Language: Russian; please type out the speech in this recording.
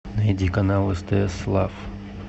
найди канал стс лав